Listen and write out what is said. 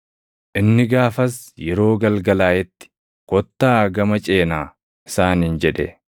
Inni gaafas, yeroo galgalaaʼetti, “Kottaa gama ceenaa” isaaniin jedhe.